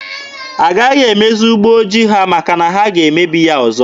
Agaghị emezi ụgbọ ojii ha maka na ha ga-emebi ya ọzọ.